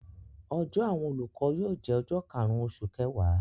Ọjọ́ àwọn olùkọ́ yóò jẹ́ ọjọ́ karùn-ún oṣù kẹwàá.